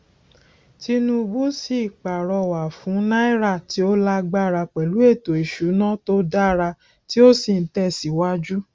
tinubu sì pàrọwà fún náírà tí ó lágbára pẹlú ètò ìsúná tó dára tí ó sì ń tẹ síwájú